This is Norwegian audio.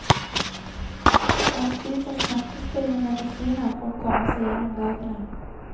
Han spiser smertestillende medisiner for å komme seg gjennom dagene.